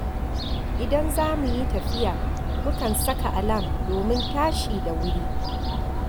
Idan za mu yi tafiya, mukan saka alam domin tashi da wuri